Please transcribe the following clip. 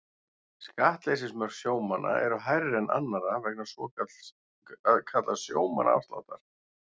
Skattleysismörk sjómanna eru hærri en annarra vegna svokallaðs sjómannaafsláttar.